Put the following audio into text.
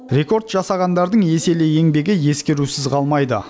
рекорд жасағандардың еселі еңбегі ескерусіз қалмайды